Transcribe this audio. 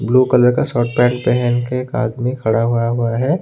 Blue colour का shirt pant पहन के एक आदमी खड़ा हुआ हुआ है।